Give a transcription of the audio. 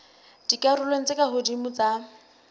dikarolong tse ka hodimo tsa